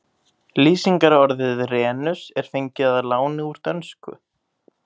Lýsingarorðið renus er fengið að láni úr dönsku.